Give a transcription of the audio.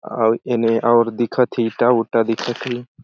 अउ ए मेर और दिखत हे इंटा-उटा दिखत हे।